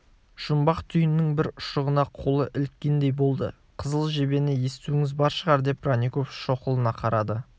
жұмбақ түйіннің бір ұшығына қолы іліккендей болды қызыл жебені естуіңіз бар шығар деп бронников шоқұлына қарады